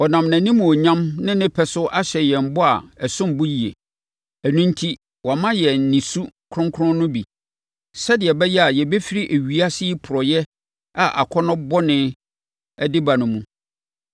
Ɔnam nʼanimuonyam ne ne nnepa so ahyɛ yɛn bɔ a ɛsom bo yie. Ɛno enti, wama yɛn ne su kronkron no bi, sɛdeɛ ɛbɛyɛ a yɛbɛfiri ewiase yi porɔeɛ a akɔnnɔ bɔne de ba no mu.